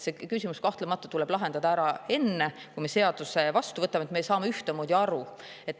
See küsimus, kahtlemata, tuleb lahendada ära enne, kui me seaduse vastu võtame, et me saaks sellest ühtemoodi aru.